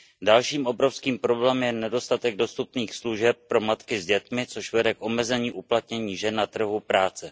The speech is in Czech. Dalším obrovským problémem je nedostatek dostupných služeb pro matky s dětmi, což vede k omezení uplatnění žen na trhu práce.